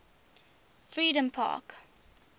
freedompark